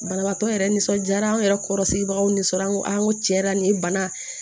Banabaatɔ yɛrɛ nisɔndiyara anw yɛrɛ kɔrɔsigibagaw nisɔndiyara n ko aa n ko tiɲɛ yɛrɛ la nin ye bana